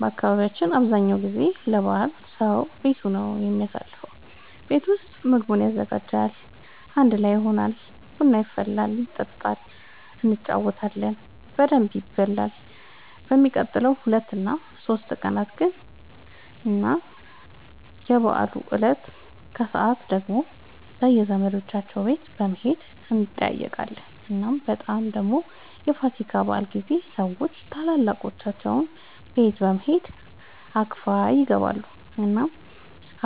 በአካባቢያችን አብዛኛው ጊዜ ለበዓል ሰዉ ቤቱ ነው የሚያሳልፈው። ቤት ውስጥ ምግቡን ያዘጋጃል፣ አንድ ላይ ይሆናል፣ ቡና ይፈላል ይጠጣል እንጫወታለን በደንብ ይበላል በሚቀጥሉት ሁለት እና ሶስት ቀናት ግን እና የበዓሉ እለት ከሰዓት ደግሞ በየዘመዶቻቸው ቤት በመሄድ እንጠያየቃለን። እናም በጣም ደግሞ የፋሲካ በዓል ጊዜ ሰዎች ታላላቆቻቸው ቤት በመሄድ አክፋይ ይገባሉ። እናም